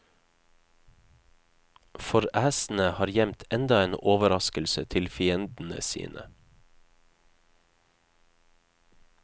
For æsene har gjemt enda en overraskelse til fiendene sine.